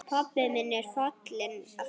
Pabbi minn er fallinn frá.